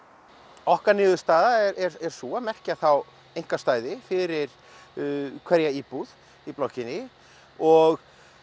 okkar niðurstaða er sú að merkja þá einkastæði fyrir hverja íbúð í blokkinni og